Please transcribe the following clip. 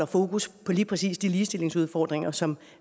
fokus på lige præcis de ligestillingsudfordringer som